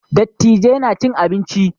Dattijai na cin abinci